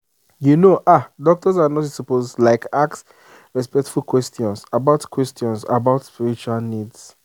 you know ah doctors and nurses suppose like ask respectful questions about questions about spiritual needs.